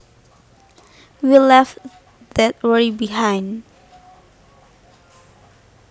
We left that worry behind